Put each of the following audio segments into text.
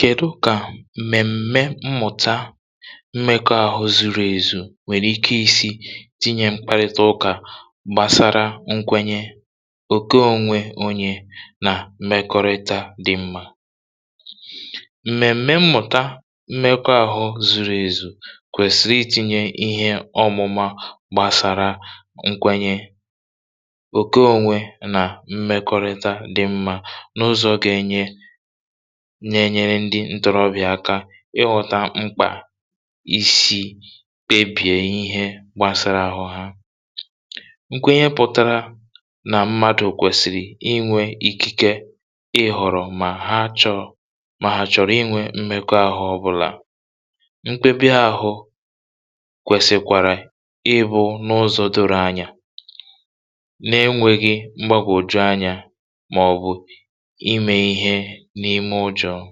kèdú kà m̀mèm̀mè mmụ̀tà mmekọ̀ahụ̀ zurù èzù nwere ike isi tinye mkparịta ụkà gbasara nkwenye òkè onwe onye um na mmekọ̀rịta dị mma m̀mèm̀mè mmụ̀tà mmekọ̀ahụ̀ zurù èzù kwesìrì itinye ihe ọmụma gbasara nkwenye òkè onwe na mmekọ̀rịta dị mma n’ụzọ ga-enye ma na-enyere ndị ntorobịa ka ịghọta mkpa isi kpebie ihe gbasara àhụ̀ ha nkwenye pụtara na mmadụ kwesìrì inwe ikike ịhọrọ ma ha chọ̀ọ ma ha chọ̀rọ̀ inwe mmekọ̀ahụ̀ ọ bụla. nkpebi àhụ̀ kwesìkwara ịbụ n’ụzọ doro anya na-enweghị mgbagwoju anya ma ọ bụ ime ihe n’ime ụjọ um.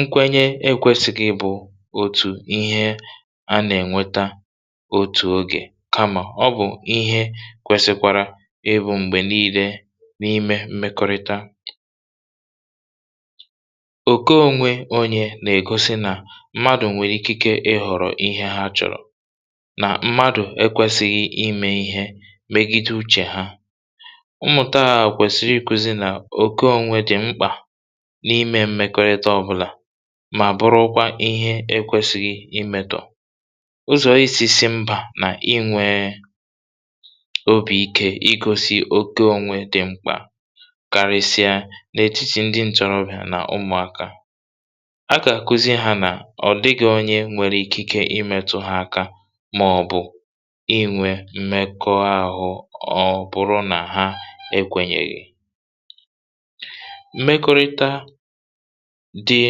nkwenye ekwesịghị bụ otu ihe a na-enweta otu oge, kama ọ bụ ihe kwesìkwara ibu mgbe niile n’ime mmekọ̀rịta òkè onwe onye na-egosi na mmadụ nwere ikike ịhọrọ ihe ha chọ̀rọ̀, na mmadụ ekwesịghị ime ihe megide uche ha. mmụ̀tà kwesìrì ikụzi na òkè onwe dị mkpa n’ime mmekọ̀rịta ọ bụla, ma bụrụkwa ihe ekwesìrì gị imetụ ụzọ isi mba na inwe obi ike igosi òkè onwe dị mkpa, karịchaa n’etiti ndị ntorobịa um na ụmụaka. a ga-akụzi ha na ọ dịghị onye nwere ikike imetụ ha aka ma ọ bụ inwe mmekọ̀ahụ̀ ọ bụrụ na ha ekwenyeghị. mmekọ̀rịta dị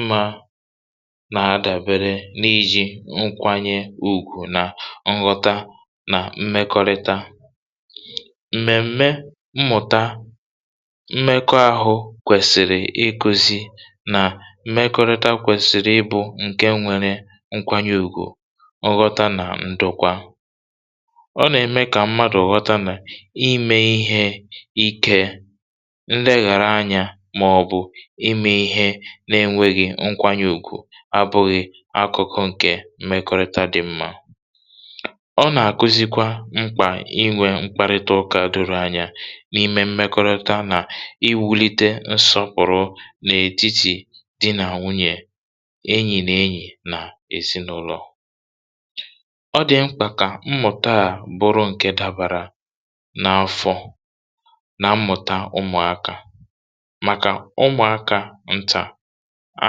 mma na-adabere n’iji nkwanye ùgwù na nghọta. m̀mèm̀mè mmụ̀tà mmekọ̀ahụ̀ kwesìrì ikụzi na mmekọ̀rịta kwesìrì ịbụ nke nwere nkwanye ùgwù, nghọta, na ndukwa. ọ na-eme ka mmadụ nwee nghọta na ime ihe ike n’ebe ndị ọzọ nọ abụghị akụ̀kụ̀ nke mmekọ̀rịta dị mma ọ na-akụzikwara mkpa inwe mkparịta ụkà doro anya n’ime mmekọ̀rịta na iwulite nsọpụ̀rụ̀ n’etiti di na nwunye, enyi na enyi, na ezinụlọ um. ọ dị mkpa ka mmụ̀tà bụrụ nke dabara na afọ na mmụ̀tà ụmụaka, maka ụmụaka nta a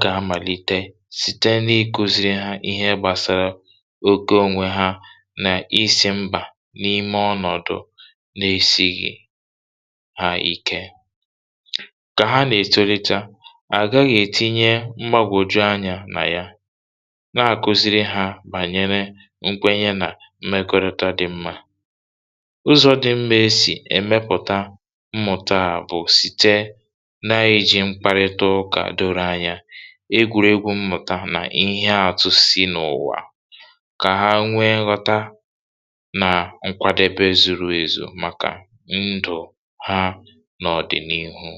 ga-amalite site n’ịkụziri ha ihe gbasara òkè onwe ha na isi mba n’ime ọnọ̀dù, n’esighị ha ike ka ha na-etolite. a gaghị etinye mgbagwoju anya na ya, na-akụziri ha banyere nkwenye na mmekọ̀rịta dị mma ụzọ dị mma esi emepụta mmụ̀tà bụ site n’iji mkparịta ụkà doro anya, egwuregwu mmụ̀tà, na ihe atụ si n’ụwa, ka ha nwee nghọta na nkwadobe zuru ezu maka ndụ ha n’ọdịnihu.